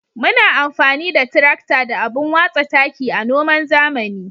Muna amfani da tirakta da abun watsa taki a noman zamani.